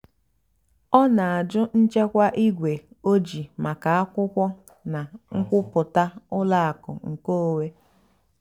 ọ́ nà-àjụ́ nchèkwà ígwè ójìì màkà ákwụ́kwọ́ nà nkwúpụ́tá ùlọ àkụ́ nkèónwé.